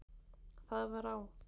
Það var á